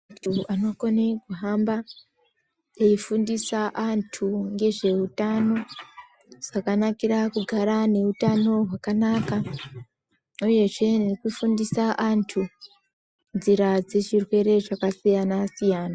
Antu anokone kuhamba eifundisa antu ngezveutano zvakanakira kugara neutano hwakanaka uyezve nekufundisa antu nzira dzezvirwere zvakasiyana -siyana.